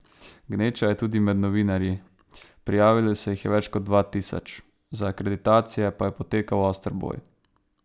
Gneča je tudi med novinarji, prijavilo se jih je več kot dva tisoč, za akreditacije pa je potekal oster boj.